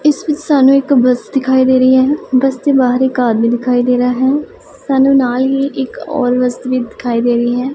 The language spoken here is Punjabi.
ਇਸ ਵਿੱਚ ਸਾਨੂੰ ਇੱਕ ਬਸ ਦਿਖਾਈ ਦੇ ਰਹੀ ਹੈ ਬਸ ਦੇ ਬਾਹਰ ਇਕ ਆਦਮੀ ਦਿਖਾਈ ਦੇ ਰਹਾ ਹੈ ਸਾਨੂੰ ਨਾਲ ਹੀ ਇੱਕ ਔਰ ਬਸ ਵੀ ਦਿਖਾਈ ਦੇ ਰਹੀ ਹੈ।